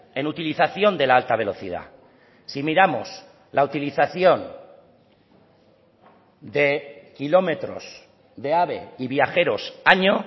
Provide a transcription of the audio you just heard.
en utilización de la alta velocidad si miramos la utilización de kilómetros de ave y viajeros año